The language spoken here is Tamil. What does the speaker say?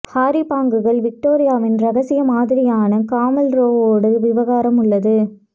ஹாரி பாங்குகள் விக்டோரியாவின் இரகசிய மாதிரியான காமில் ரோவோடு ஒரு விவகாரம் உள்ளது